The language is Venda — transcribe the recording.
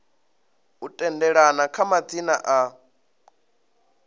u tendelana kha madzina a